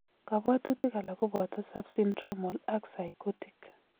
Kabwatutik alak kobata subsyndromal ak psychotic